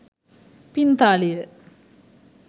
පිංතාලිය